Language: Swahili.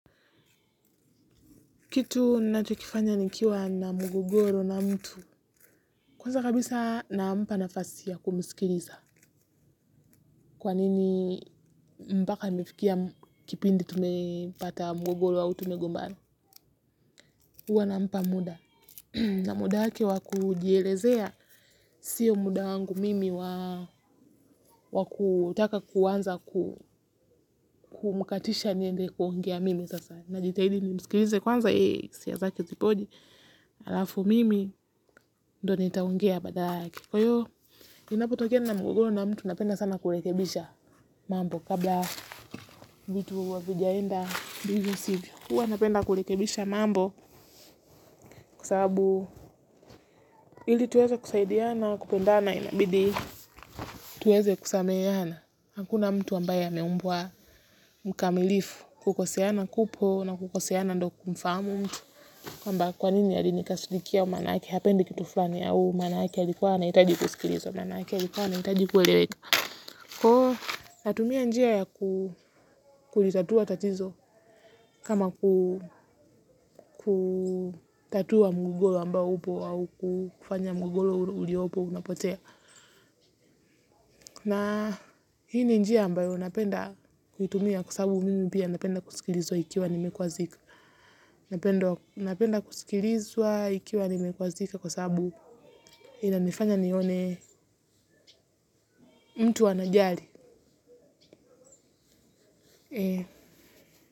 Kitu nachokifanya nikiwa na mgogoro na mtu. Kwanza kabisa nampa nafasi ya kumsikiliza. Kwa nini mpaka nifikia kipindi tumepata mgogoro au tumegombana. Huwa nampa muda. Na muda wake wa kujielezea. Sio muda wangu mimi wa kutaka kuanza kumkatisha niende kuongea mimi sasa. Najitahidi nimsikilize kwanza hisia zake zikoje. Halafu mimi ndo nitaongea baadake. Kwa hiyo, ninapotokea na mgogoro na mtu napenda sana kurekebisha mambo kabla vitu havijaenda vivyo sivyo. Huwa napenda kurekebisha mambo kwa sababu ili tuweze kusaidiana kupenda na inabidi. Tuweze kusameheana. Hakuna mtu ambaye ameumbwa mkamilifu kukoseana kupo na kukoseana ndo kumfahamu mtu. Kwamba kwa nini alinikasirikia maanake hapendi kitu fulani au maanake alikuwa anahitaji kusikilizwa. Maanake alikuwa anahitaji kueleweka. Kua natumia njia ya kulitatua tatizo kama kutatua mgogoro ambao upo au kufanya mgogoro uliopo unapotea. Na hii ni njia ambayo napenda kuitumia kwa sababu mimi pia napenda kusikilizwa ikiwa nimekwazika. Napenda kusikilizwa ikiwa nimekwazika kwa sababu inanifanya nione mtu anajali.